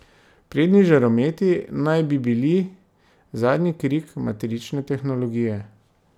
Prednji žarometi naj bi bili zadnji krik matrične tehnologije.